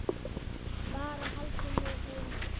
Bara haldið mig heima!